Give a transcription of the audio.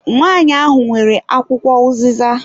Nwanyi ahụ nwere akwụkwọ uziza.